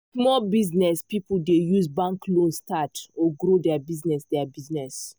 small business people dey use bank loan start or grow their business. their business.